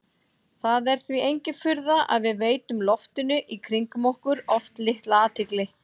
Það er því engin furða að við veitum loftinu í kringum okkur oft litla athygli.